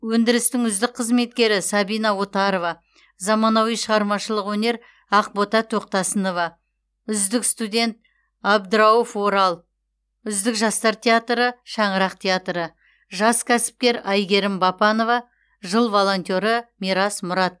өндірістің үздік қызметкері сабина отарова заманауи шығармашылық өнер ақбота тоқтасынова үздік студент абдрауф орал үздік жастар театры шаңырақ театры жас кәсіпкер айгерім бапанова жыл волонтеры мирас мұрат